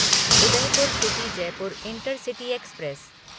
Udaipur city Jaipur intercity express